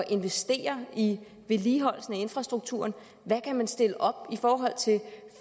investere i vedligeholdelsen af infrastrukturen hvad kan man stille op i forhold til